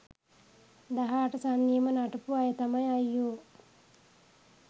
දහ අට සන්නියම නටපු අය තමයි අයියෝ